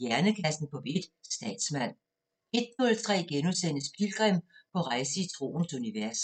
Hjernekassen på P1: Statsmand * 01:03: Pilgrim – på rejse i troens univers *